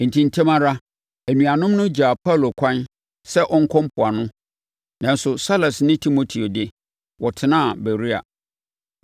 Enti, ntɛm ara, anuanom no gyaa Paulo ɛkwan sɛ ɔnkɔ mpoano, nanso Silas ne Timoteo de, wɔtenaa Beroia.